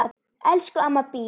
Elsku amma Bía.